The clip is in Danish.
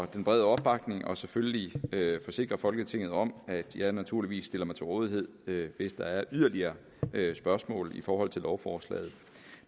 den brede opbakning og selvfølgelig forsikre folketinget om at jeg naturligvis stiller mig til rådighed hvis der er yderligere spørgsmål i forhold til lovforslaget